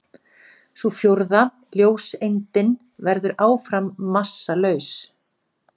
Sú fjórða, ljóseindin, verður áfram massalaus.